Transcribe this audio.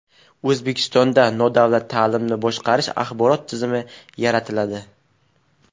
O‘zbekistonda nodavlat ta’limni boshqarish axborot tizimi yaratiladi.